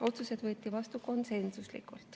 Otsused võeti vastu konsensuslikult.